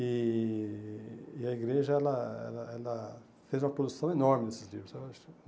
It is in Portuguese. E e a igreja ela ela ela fez uma produção enorme desses livros.